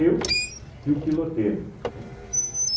Eu e o piloteiro, né?